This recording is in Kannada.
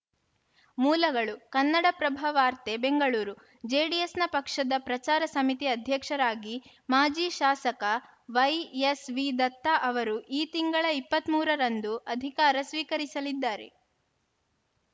ಮೂಲಗಳು ಕನ್ನಡಪ್ರಭ ವಾರ್ತೆ ಬೆಂಗಳೂರು ಜೆಡಿಎಸ್‌ನ ಪಕ್ಷದ ಪ್ರಚಾರ ಸಮಿತಿ ಅಧ್ಯಕ್ಷರಾಗಿ ಮಾಜಿ ಶಾಸಕ ವೈಎಸ್‌ವಿದತ್ತ ಅವರು ಈ ತಿಂಗಳ ಇಪ್ಪತ್ತ್ ಮೂರರಂದು ಅಧಿಕಾರ ಸ್ವೀಕರಿಸಲಿದ್ದಾರೆ